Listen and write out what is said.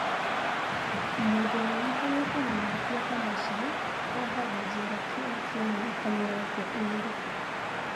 Mũndũ wonekanĩte na mahĩtia ta macio ohagwo njera kĩoho kĩa mĩaka mĩrongo ĩrĩ.